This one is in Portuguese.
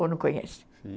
Ou não conhecem? Sim.